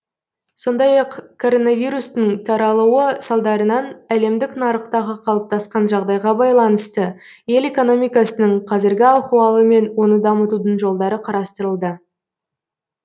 сондай ақ коронавирустың таралуы салдарынан әлемдік нарықтағы қалыптасқан жағдайға байланысты ел экономикасының қазіргі ахуалы мен оны дамытудың жолдары қарастырылды